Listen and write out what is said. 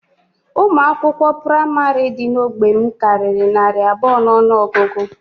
Ụmụ akwụkwọ praịmarị dị n'ógbè m karịrị narị abụọ n'ọnụọgụgụ